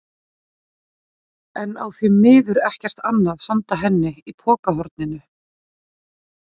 En á því miður ekkert annað handa henni í pokahorninu.